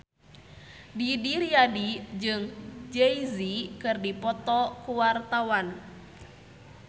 Didi Riyadi jeung Jay Z keur dipoto ku wartawan